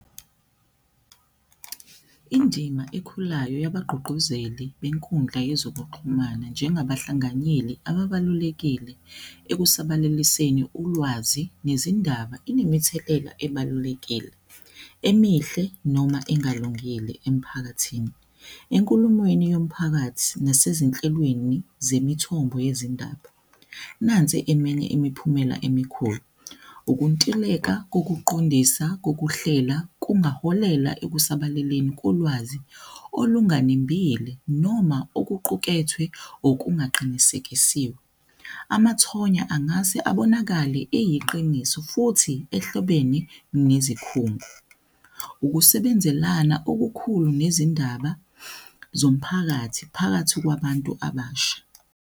Indima ekhulayo yabagqugquzeli benkundla yezokuxhumana njengabahlanganyeli ababalulekile ekusabalaliseni ulwazi nezindaba inemithelela ebalulekile emihle noma engalungile emphakathini. Enkulumweni yomphakathi nasezinhlelweni zemithombo yezindaba. Nansi eminye imiphumela emikhulu, ukuntuleka kokuqondisa kokuhlela kungaholela ekusabalaleni kolwazi olunganembile noma okuqukethwe okungaqinikekisiwe. Amathonya angase abonakale eyiqiniso futhi ehlobeni nezikhungo, ukusebenzelana okukhulu nezindaba zomphakathi phakathi kwabantu abasha.